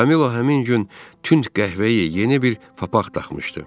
Kamilo həmin gün tünd qəhvəyi yeni bir papaq taxmışdı.